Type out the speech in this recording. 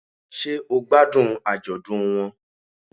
Sé o gbádùn àjọ̀dún won